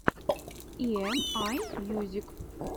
и эм ай мьюзик